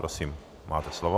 Prosím máte slovo.